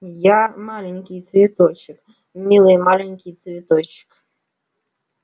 я маленький цветочек милый маленький цветочек